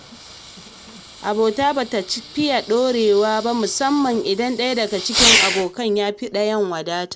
Abota bata cika ɗorewa ba musamman idan ɗaya daga cikin abokan yafi ɗayan wadata.